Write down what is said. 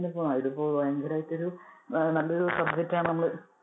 ഇതിപ്പൊ ഭയങ്കരായിട്ട്നല്ലൊരു subject ആണ് നമ്മള്